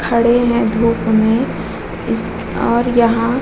खड़े हैं धुप में इस और यहाँ --